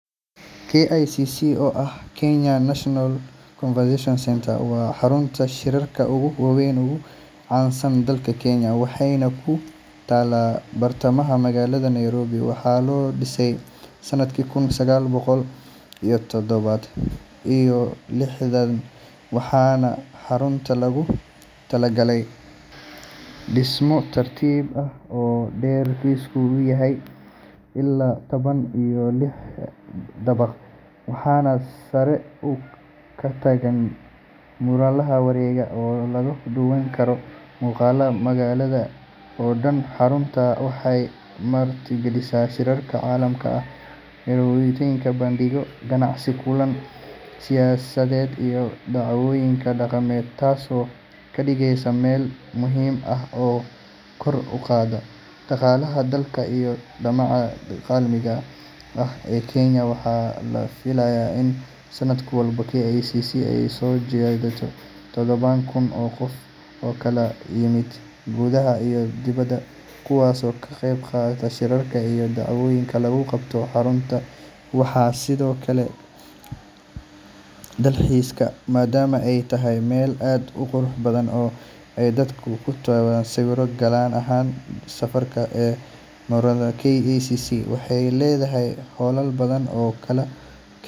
KICC, oo ah Kenyatta International Convention Centre, waa xarunta shirarka ugu weyn uguna caansan dalka Kenya, waxayna ku taallaa bartamaha magaalada Nairobi. Waxaa la dhisay sanadkii kun sagaal boqol iyo toddoba iyo lixdan, waxaana xaruntan loogu magac daray madaxweynihii ugu horreeyay ee Kenya, Jomo Kenyatta. KICC waxay leedahay dhismo taariikhi ah oo dhererkiisu yahay ilaa labaatan iyo lix dabaq, waxaana sare ka taagan munaarad wareegta oo laga daawan karo muuqaalka magaalada oo dhan. Xaruntani waxay martigelisaa shirar caalami ah, carwooyin, bandhigyo ganacsi, kulan siyaasadeed iyo dhacdooyin dhaqameed, taasoo ka dhigaysa meel muhiim ah oo kor u qaadda dhaqaalaha dalka iyo sumcadda caalamiga ah ee Kenya. Waxaa la filayaa in sanad walba KICC ay soo jiidato tobannaan kun oo qof oo ka kala yimaada gudaha iyo dibadda, kuwaasoo ka qeyb gala shirarka iyo dhacdooyinka lagu qabto xarunta. Waxaa sidoo kale xaruntan loo adeegsadaa dalxiis, maadaama ay tahay meel aad u qurux badan oo ay dadku ku qaataan sawirro, gaar ahaan saqafka sare ee munaaradda. KICC waxay leedahay hoolal badan oo kala.